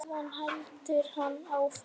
Síðan heldur hann áfram.